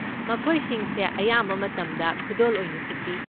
ꯃꯈꯣꯏꯁꯤꯡꯁꯦ ꯑꯌꯥꯝꯕ ꯃꯇꯝꯗ ꯈꯨꯗꯣꯜ ꯑꯣꯏꯅꯁꯨ ꯄꯤ꯫